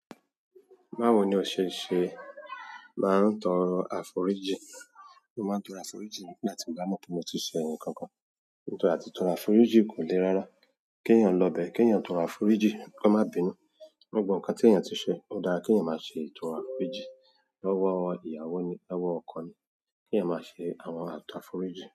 Báwo ni o ṣe ṣe máa ń tọrọ àforíjì? Mo maa n toro àforíjìn nígbà tí mo ba mo pe moti se nkan kan. Ìtọrọ àti tọrọ àforíjì kò le rárá. Kéèyàn lọ bẹ, kéèyàn tọrọ àforíjì kó má bínú. Gbogbò nǹkan tí èèyàn ti ṣe, ó dára kí èèyàn má ṣe ìtọrọ àforíjì. Lọ́wọ́ ìyàwó ni, lọ́wọ́ ọkọ ni, kí èèyàn máa ṣe àwọn àtàforíjì.